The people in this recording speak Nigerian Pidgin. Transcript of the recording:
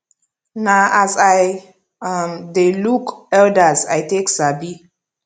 na as i um de look elders i take sabi